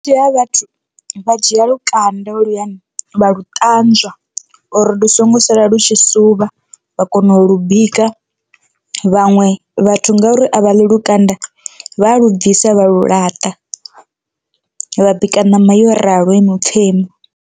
Vhunzhi ha vhathu vha dzhia lukanda holuyani vha lu ṱanzwa uri ndi songo sala lu tshi suvha vha kona u lu bika, vhaṅwe vhathu ngauri a vha ḽi lukanda vha a lu bvisa vha lu laṱa vha bika ṋama yo ralo i mupfhemu.